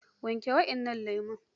wanke waɗannan lemo!